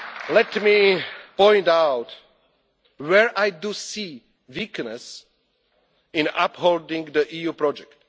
Let me point out where I do see a weakness in upholding the EU project.